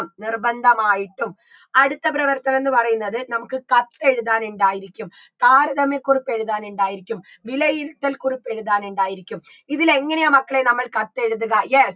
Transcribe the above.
നിർബന്ധമായിട്ടും അടുത്ത പ്രവർത്തനം എന്ന് പറയുന്നത് നമുക്ക് കത്തെഴുതാൻ ഇണ്ടായിരിക്കും താരതമ്യക്കുറിപ്പ് എഴുതാൻ ഇണ്ടായിരിക്കും വിലയിരുത്തൽ കുറിപ്പ് എഴുതാൻ ഇണ്ടായിരിക്കും ഇതിലെങ്ങനെയാ മക്കളേ നമ്മൾ കത്തെഴുതുക yes